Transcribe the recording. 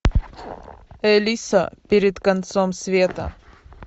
элиса перед концом света